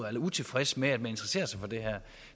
eller utilfreds med at man interesserer sig for det her